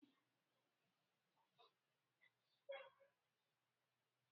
Kedụ ka ị ga-esi agbatị ogwe aka gị?